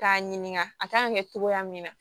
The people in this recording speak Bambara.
K'a ɲininka a kan ka kɛ togoya min na